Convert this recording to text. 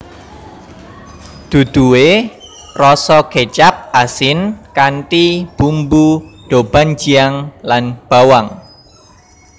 Duduhe rasa kecap asin kanthi bumbu doubanjiang lan bawang